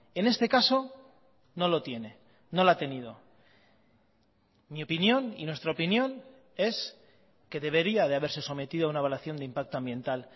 en este caso no lo tiene no la ha tenido mi opinión y nuestra opinión es que debería de haberse sometido a una evaluación de impacto ambiental